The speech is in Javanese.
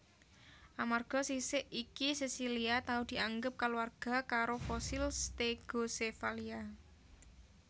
Amarga sisik iki sesilia tau dianggep sakaluwarga karo fosil Stegocephalia